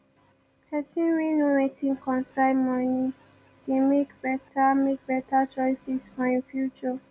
pesin wey know wetin concern moni dey mek beta mek beta choices for im future